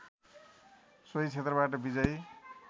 सोही क्षेत्रबाट विजयी